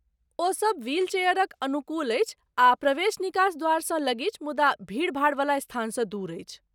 ओसब व्हील चेयरक अनुकूल अछि आ प्रवेश निकास द्वारसँ लगीच मुदा भीड़भाड़वला स्थानसँ दूर अछि।